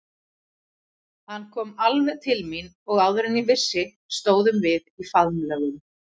Hann kom alveg til mín og áður en ég vissi stóðum við í faðmlögum.